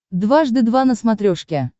дважды два на смотрешке